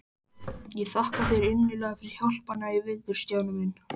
Ég þakka þér innilega fyrir hjálpina í vetur, Stjáni minn.